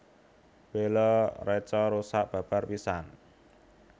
Bala reca rusak babar pisan